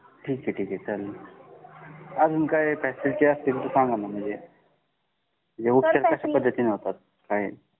ठीक आहे ठीक आहे चालेल अजून काही फॅसिलिटी असतील तर सांगा ना म्हणजे उपचार कशा पद्धतीने होतात